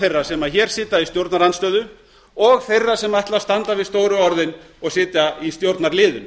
þeirra sem hér sitja í stjórnarandstöðu og þeirra sem ætla að standa við stóru orðin og sitja í stjórnarliðinu